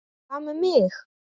Hvað með mig?